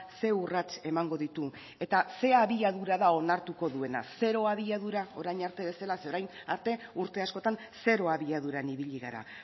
zer urrats emango ditu eta zein abiadura da onartuko duena zero abiadura orain arte bezala zeren orain arte urte askotan zero abiaduran ibili gara